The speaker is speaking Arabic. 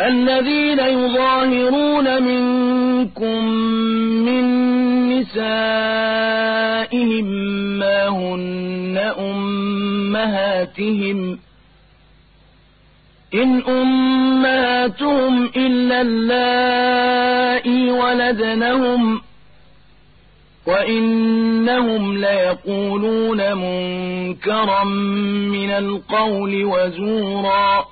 الَّذِينَ يُظَاهِرُونَ مِنكُم مِّن نِّسَائِهِم مَّا هُنَّ أُمَّهَاتِهِمْ ۖ إِنْ أُمَّهَاتُهُمْ إِلَّا اللَّائِي وَلَدْنَهُمْ ۚ وَإِنَّهُمْ لَيَقُولُونَ مُنكَرًا مِّنَ الْقَوْلِ وَزُورًا ۚ